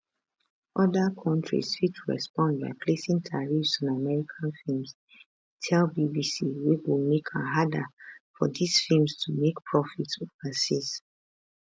oda countries fit respond by placing tariffs on american films e tell bbc wey go make am harder for dis films to make profits overseas